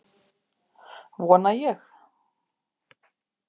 Vona ég.